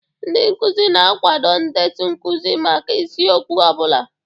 Ndị nkuzi na-akwado ndetu nkuzi maka isiokwu ọ bụla.